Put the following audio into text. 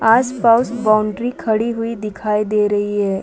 आस-पास बॉउंड्री खड़ी हुई दिखाई दे रही हैं।